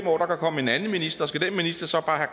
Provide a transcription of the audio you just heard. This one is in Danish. komme en anden minister og skal den minister så bare